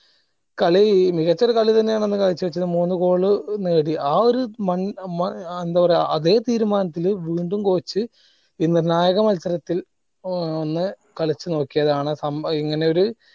കളി മികച്ച ഒരു കളി തന്നെ ആണ് അന്ന് കാഴ്ച വെച്ചത് മൂന്ന് goal നേടി ആ ഒര് മ മങ് ഏർ എന്താ പറയാ അതെ തീരുമാനത്തില് വീണ്ടും coach മത്സരത്തി ഏർ ഒന്ന് കളിച്ച് നോക്കിയതാണ് സം ഇങ്ങനെ ഒര്